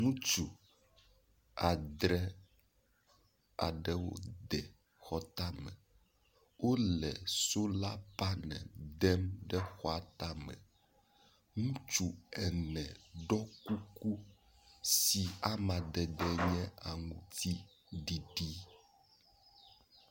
Ŋutsu adre aɖewo de xɔtame. Wo le sola panel dem ɖe xɔa tame. Ŋutsu ene ɖo kuku si amadede nye aŋtiɖiɖi.